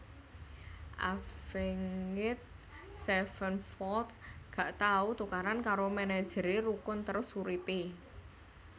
Avenged Sevenfold gak tau tukaran karo manajer e rukun terus urip e